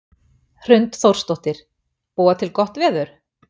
Hrund Þórsdóttir: Búa til gott veður?